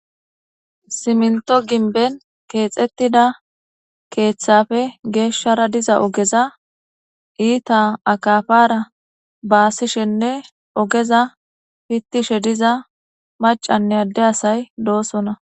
Siminto ginben kexetida kethafe geshara diza ogeza ita akapara basishen ogeza pitishe diza macanne ade asay dosona